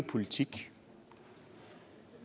politikere